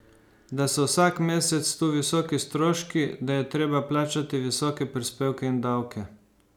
Da so vsak mesec tu visoki stroški, da je treba plačati visoke prispevke in davke.